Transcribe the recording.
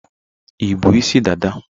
Ịbụ́ isi dada?